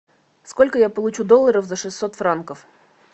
сколько я получу долларов за шестьсот франков